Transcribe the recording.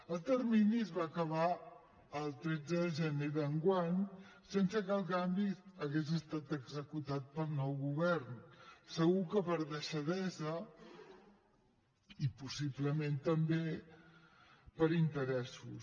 el termini es va acabar el tretze de gener d’enguany sense que el canvi hagués estat executat pel nou govern segur que per deixadesa i possiblement també per interessos